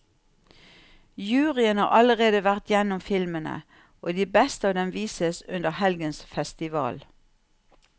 Juryen har allerede vært gjennom filmene, og de beste av dem vises under helgens festival.